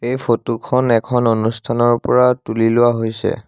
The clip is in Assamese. এই ফটো খন এখন অনুষ্ঠানৰ পৰা তুলি লোৱা হৈছে।